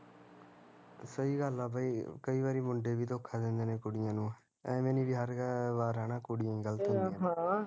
ਸਹੀਂ ਗੱਲ ਐ ਬਾਈ ਕਈ ਵਾਰੀ ਮੁੰਡੇ ਵੀ ਧੋਖਾ ਦਿੰਦੇ ਨੇ ਕੁੜੀਆ ਨੂੰ ਅਵੇ ਨੀ ਵੀ ਹਰ ਵਾਰ ਹੈਨਾ ਕੁੜੀਆਂ ਈ ਗਲਤ ਹੁੰਦੀਆ